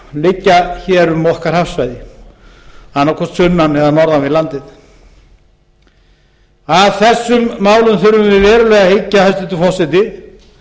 muni liggja hér um okkar hafsvæði annað hvort sunnan eða norðan við landið að þessum málum þurfum við verulega að hyggja hæstvirtur forseti